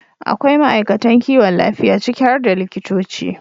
akwai ma'aikatan kiwon lafiya, ciki har da likitoci,